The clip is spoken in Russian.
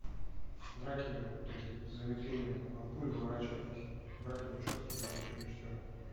драки такие с замедлением там от пуль уворачивались братья вачовски были еще режиссеры